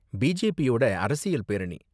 பிஜேபியோட அரசியல் பேரணி.